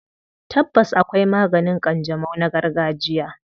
Tabbas, akwai maganin ƙanjamau na gargajiya.